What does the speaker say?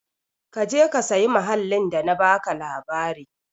Ka je ka sayi mahallin da na baka labari.